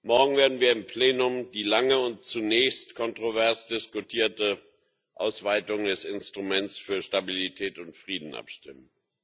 Morgen werden wir im Plenum über die lange und zunächst kontrovers diskutierte Ausweitung des Instruments für Stabilität und Frieden abstimmen.